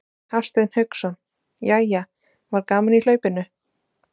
Hafsteinn Hauksson: Jæja var gaman í hlaupinu?